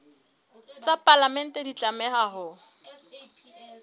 tsa palamente di tlameha ho